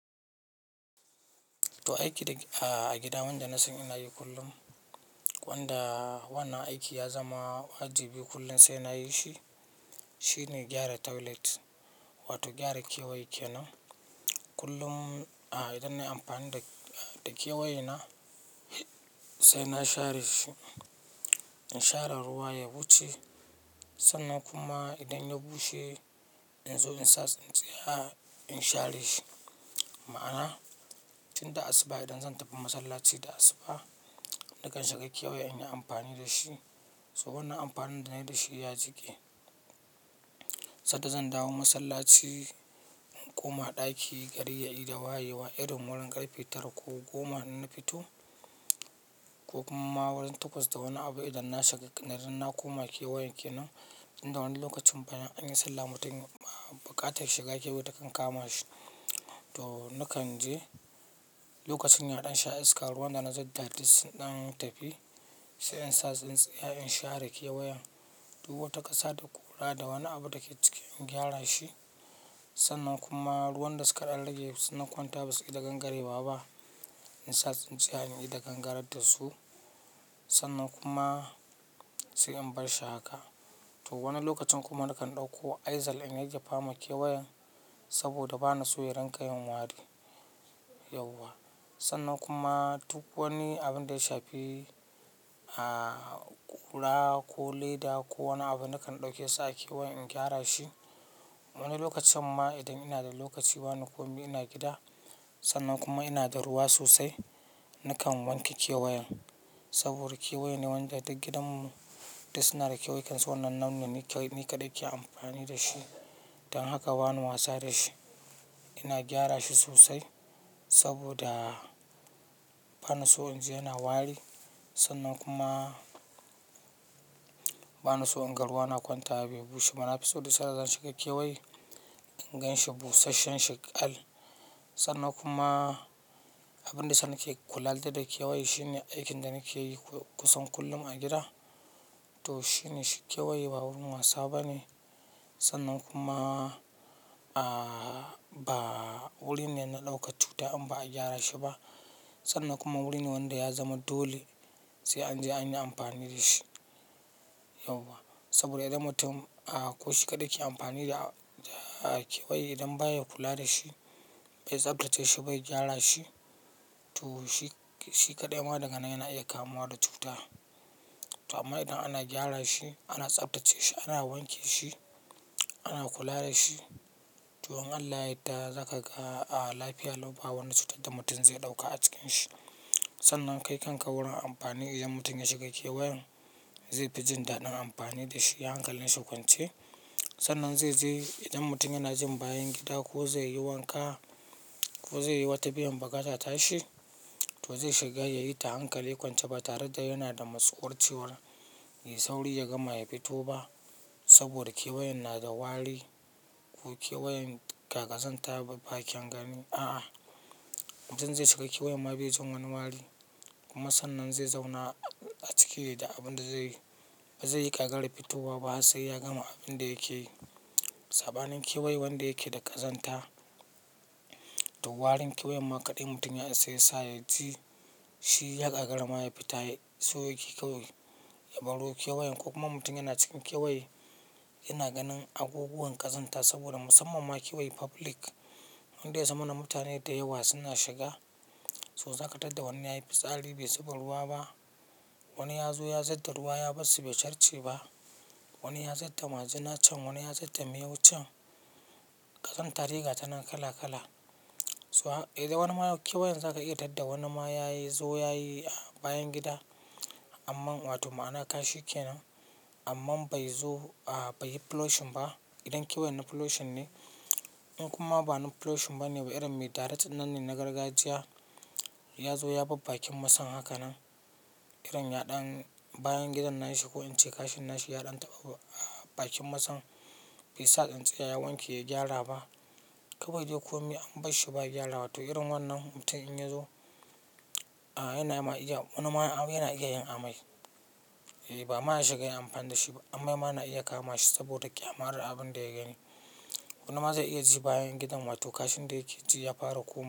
To aiki a gida wanda nasan ina yi kullum, wanda wannan aiki ya zama wajibi kullum sai na yi shi. Shine gyara toilet wato gyara kewaye kenan kullum. Idan na yi amfani da kewayena sai na share shi, in share ruwa ya wuce. Sannan kuma idan ya bushe in zo in sa tsintsiya in share shi. Ma'ana tunda asuba idan zan tafi masallaci da asuba nakan shiga kewaye in yi amfani da shi. So wannan amfanin da nayi da shi ya jike. Sadda zan dawo masallaci, in koma ɗaki gari ya ida wayewa irin wurin ƙarfe tara ko goma in na fito ko kuma ma wurin takwas da wani abu idan na shiga, idan na koma kewayen kenan, inda wani lokacin bayan anyi sallah mutum baƙatar ya shiga kewaye takan kama shi. To nakan je lokacin yaɗan sha iska, ruwan da na zub da duk sun ɗan tafi sai in sa tsintsiya in share kewayen. Duk wata ƙasa da kura da wani abu da ke ciki in gyara shi. Sannan kuma ruwan da suka ɗan rage suna kwanta basu ida gangarewa ba. In sa tsintsiya in ida gangarar da su sannan kuma sai in barshi haka. To wani lokacin kuma nakan ɗauko aizal in yayyafa ma keweyen saboda bana son ya rinƙa yin wari yauwa. Sannan kuma duk wani abin da ya shafi kura ko leda ko wani abu nakan ɗauke sa a kewayen in gyara shi. Wani lokacin ma idan ina da lokaci ba ni komi ina gida sannan kuma ina da ruwa sosai nakan wanke kewayen. Saboda kewaye ne wanda duk gidan mu duk suna da kewayen kansu, wannan nau ne ni kaɗai ke amfani da shi. Dan haka bani wasa da shi ina gyara shi sosai saboda bana so in ji yana wari sannan kuma bana so in ga ruwa na kwanta wa bai bushe amma na fi son duk sanda zan shiga kewaye in ganshi busasshen sheƙal. Sannan kuma abin da yasa na ke kula da, da kewaye shine aikin da nake yi kusan kullum a gida. To shine kewaye ba wurin wasa bane sannan kuma ba wurin ne na ɗaukar cuta in ba a gyara shi ba. Sannan kuma wuri ne wanda ya zama dole sai an je an yi amfani da shi yauwa. Saboda idan mutum ko shi kaɗai ke amfani da kewaye idan baya kula da shi bai tsaftace shi, bai gyara shi to shi kaɗai ma daga nan yana iya kamuwa da cuta. To amma idan ana gyara shi, ana tsaftace shi, ana wanke shi, ana kula da shi, to in Allah ya yadda zaka ga lafiya lau ba wani cutar da mutum zai ɗauka a cikin shi. Sannan kai kanka wurin amfani idan mutum ya shiga keweyen zai fi jin daɗin amfani da shi. Hankalin shi kwance. Sannan zai je idan mutum yana jin bayan gida ko zai yi wanka ko zai yi wata biyan baƙata ta shi to zai shiga yayi ta hankali kwance ba tare da yana da matsuwar cewar yayi sauri ya gama ya fito ba. Saboda kewayan na da wari ko kewayan ga ƙazanta ya bi ba kyan gani. A'a, mutum zai shiga kewaye ma bai jin wani wari kuma sannan zai zauna a ciki da abin da zai yi. Bazai yi ƙagara fitowa ba sai ya gama abin da yake yi. Sabanin kewaye wanda yake da ƙazanta. To warin kewayen ma kaɗai mutum ya isa yasa ya ji shi ya ƙagara ma ya fita. So yake kawai ya baro kewayen ko kuma mutum yana cikin kewaye yana ganin abubuwan ƙazanta saboda musamman ma kewaye public wanda ya zamana mutane da yawa suna shiga. To zaka tar da wani yayi fitsari bai zuba ruwa ba. Wani ya zo ya zub da ruwa ya bar su bai sarce ba. Wani ya zub da majina can wani ya zub da miyau can. Ƙazanta dai ga ta naj kala kala. So idan wani ma kewaye zaka iya tar da wani ma ya zo yayi bayan gida. Amma wato ma'ana kashi kenan amma bai zo bai yi flushing ba idan kewayen na flushing ne. In kuma ba na flushing bane ba irin mai direct ɗinn nan ne na gargajiya ya zo ya bar bakin masayin haka nan irin ya ɗan bayan gidan nashi ko in ce kashin nashi ya ɗan taɓa bakin masayin bai sa tsintsiya ya wanke ya gyara ba. Kawai dai komai an barshi ba gyara, wato irin wannan mutum in ya zo yana iya wani ma yana iya yin amai. Ba ma ya shiga yin amfani da shi ba amai ma yana iya kama shi saboda ƙyamar abun da ya gani. Wani ma zai iya ji bayan gidan wato kashin da yake ji ya fara komawa.